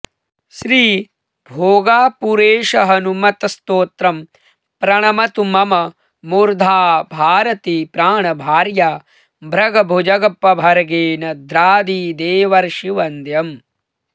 श्री भोगापुरेशहनुमत्स्तोत्रम् प्रणमतु मम मूर्धा भारती प्राणभार्या भ्रगभुजगपभर्गेन्द्रादिदेवर्षिवन्द्यम्